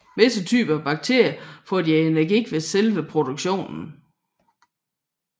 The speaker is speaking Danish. Visse typer af batterier får deres energi ved selve produktionen